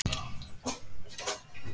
Að geta lifað.